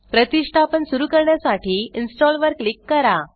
प्रतिष्ठापन सुरु करण्यासाठी इन्स्टॉल वर क्लिक करा